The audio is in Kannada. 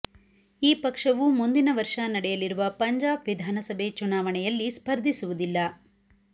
ಈ ಪಕ್ಷವು ಮುಂದಿನ ವರ್ಷ ನಡೆಯಲಿರುವ ಪಂಜಾಬ್ ವಿಧಾನಸಭೆ ಚುನಾವಣೆಯಲ್ಲಿ ಸ್ಪರ್ಧಿಸುವುದಿಲ್ಲ